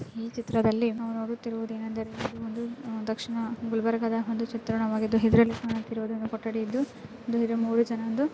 ಈ ಚಿತ್ರದಲ್ಲಿ ನಾವು ನೊಡುತ್ತಿರುವುದು ಏನೆಂದರೆ ಇದೊಂದು ದಕ್ಷಿಣ ಗುಲ್ಬರ್ಗಾದ ಒಂದು ಚಿತ್ರಣವಾಗಿದೆ ಕೊಟಡಿ ಇದ್ದು --